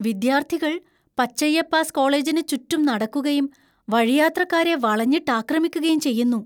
വിദ്യാർത്ഥികൾ പച്ചയ്യപ്പാസ് കോളേജിന് ചുറ്റും നടക്കുകയും, വഴിയാത്രക്കാരെ വളഞ്ഞിട്ട് ആക്രമിക്കുകയും ചെയ്യുന്നു.